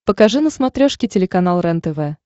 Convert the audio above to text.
покажи на смотрешке телеканал рентв